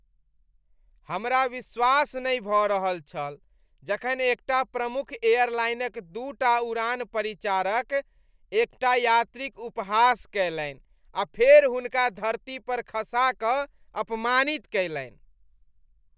हमरा विश्वास नहि भऽ रहल छल जखन एकटा प्रमुख एयरलाइनक दूटा उड़ान परिचारक एकटा यात्रीक उपहास कयलनि आ फेर हुनका धरती पर खसा कऽ अपमानित कयलनि।